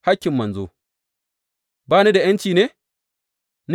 Hakkin manzo Ba ni da ’yanci ne?